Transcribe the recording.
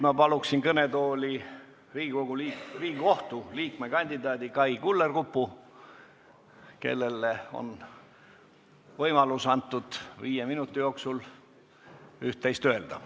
Ma palun kõnetooli Riigikohtu liikme kandidaadi Kai Kullerkupu, kellele on antud võimalus viie minuti jooksul üht-teist öelda.